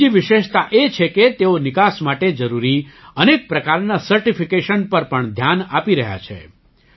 બીજી વિશેષતા એ છે કે તેઓ નિકાસ માટે જરૂરી અનેક પ્રકારનાં સર્ટિફિકેશન પર પણ ધ્યાન આપી રહ્યા છે